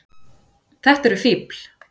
Þetta eru fífl.